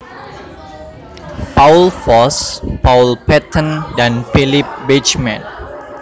Paul Foss Paul Patton dan Philip Beitchman